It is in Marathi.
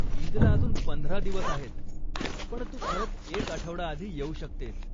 ईदला अजून पंधरा दिवस आहेत, पण तू खरंच एक आठवडा आधी येऊ शकतेस.